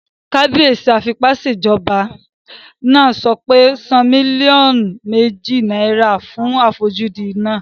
Kábíyèsí afipásèjọba náà sọ pé "san mílíọ̀nù méjì náírà fún àfojúdi náà!"